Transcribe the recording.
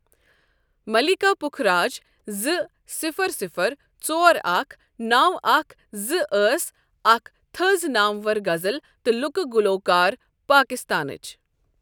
مَلیٖکا پُکھراج زٕ صفر صفر ژور اکھ نَو اکھ زٕ أس اَکھ تٕھز نامور غزل تہٕ لُکہٕ گلوٗکار پٲکِستانٕچ۔